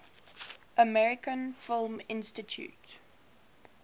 american film institute